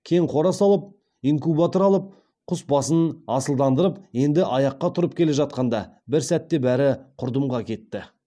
кең қора салып инкубатор алып құс басын асылдандырып енді аяққа тұрып келе жатқанда бір сәтте бәрі құрдымға кетті